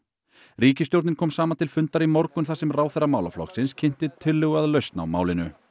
ríkisstjórnin kom saman til fundar í morgun þar sem ráðherra málaflokksins kynnti tillögu að lausn á málinu